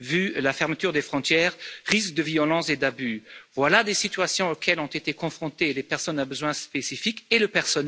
vu la fermeture des frontières, risques de violence et d'abus voilà des situations auxquelles ont été confrontées les personnes à besoins spécifiques et le personnel soignant.